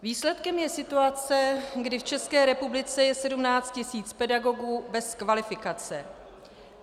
Výsledkem je situace, kdy v České republice je 17 tisíc pedagogů bez kvalifikace.